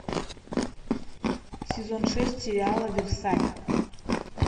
сезон шесть сериала версаль